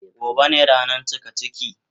Gobe ne rana cikaciki.